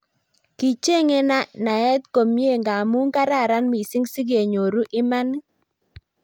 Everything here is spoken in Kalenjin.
kichenyei nait komyei ngaamu kararan missing si kenyoru imaanit